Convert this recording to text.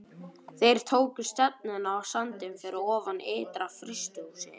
Þeir tóku stefnuna á sandinn fyrir ofan ytra-frystihúsið.